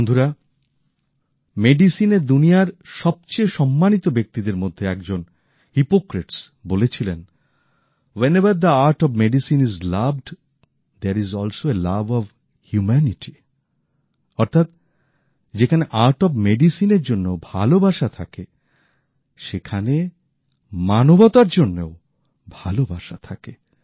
বন্ধুরা চিকিৎসার দুনিয়ার সবচেয়ে সম্মানিত ব্যক্তিদের মধ্যে একজন বিশেষজ্ঞ বলেছিলেন wherever the art of medicine is loved there is also a love of humanity অর্থাৎ যেখানে ওষুধের গুনাগুনের এর জন্য ভালোবাসা থাকে সেখানে মানবতার জন্যেও ভালোবাসা থাকে